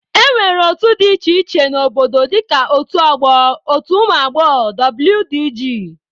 E nwere otu dị iche iche n'obodo dịka otu ọgbọ, otu ụmụ agbọghọbịa wdg.